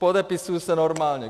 Podepisuji se normálně.